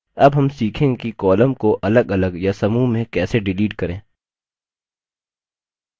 अब हम सीखेंगे कि columns को अलगअलग या समूह में कैसे डिलीट करें